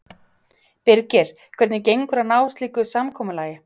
Birgir, hvernig gengur að ná slíku samkomulagi?